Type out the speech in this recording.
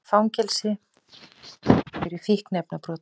Í fangelsi fyrir fíkniefnabrot